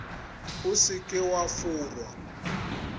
o se ke wa forwa